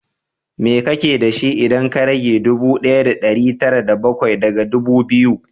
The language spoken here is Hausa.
Me kake da shi, idan ka rage ɗubu ɗaya da ɗari tara da bakwai daga ɗubu biyu?